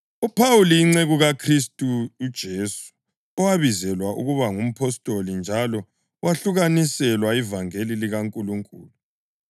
UPhawuli, inceku kaKhristu uJesu, owabizelwa ukuba ngumpostoli njalo wahlukaniselwa ivangeli likaNkulunkulu,